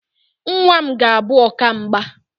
Nnwa m ga-abụ ọkamgba